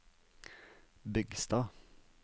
Bygstad